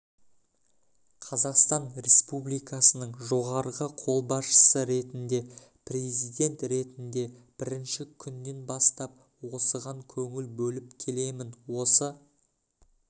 қазақстан республикасының жоғарғы қолбасшысы ретінде президент ретінде бірінші күннен бастап осыған көңіл бөліп келемін осы